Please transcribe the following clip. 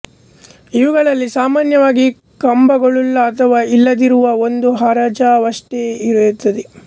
ಇವುಗಳಲ್ಲಿ ಸಾಮಾನ್ಯವಾಗಿ ಕಂಬಗಳುಳ್ಳ ಅಥವಾ ಇಲ್ಲದಿರುವ ಒಂದು ಹಜಾರವಷ್ಟೇ ಇರುತ್ತದೆ